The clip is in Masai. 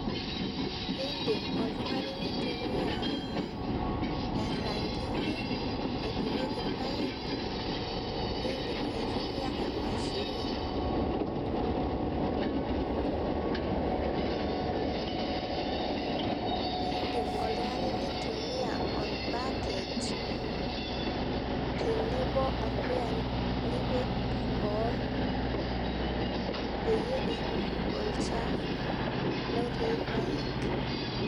Edim oltung'ani nintumia erantili naipimikie irpaek nidim aitumia emashini. Idim oltung'ani nintumia orbacket tenebo orpuya nipik boo peyie epuku olchafu looti irpaek.